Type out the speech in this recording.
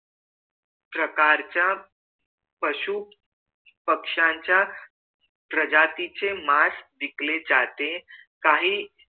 प्रकारचा पशु पक्ष्याच्या प्रजातीचे मास विकले जाते काही